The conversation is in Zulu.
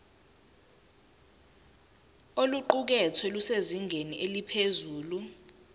oluqukethwe lusezingeni eliphezulu